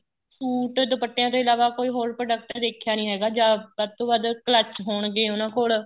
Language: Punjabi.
suite ਦੁਪੱਟਿਆ ਤੋਂ ਇਲਾਵਾ ਕੋਈ ਹੋਰ product ਦੇਖਿਆ ਨੀਂ ਹੈਗਾ ਜਾਂ ਵੱਧ ਤੋਂ ਵੱਧ clutch ਹੋਣਗੇ ਉਹਨਾ ਕੋਲ